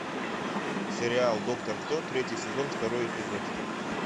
сериал доктор кто третий сезон второй эпизод